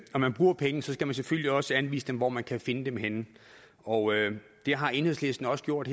når man bruger penge selvfølgelig også skal anvise hvor man kan finde dem henne og det har enhedslisten også gjort